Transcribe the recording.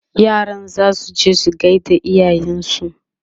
yaran zasu je su gaida iyayensu